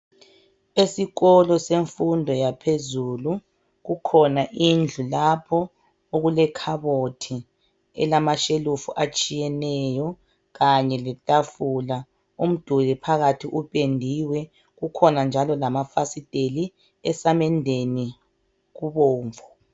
Esikolo semfundo yaphezulu kukhona indlu lapho okulekhabothi elamashelufu atshiyeneyo kanye letafula. Umduli phakathi upendiwe, kukhona njalo lamafasiteli. Esamendeni kubomvu.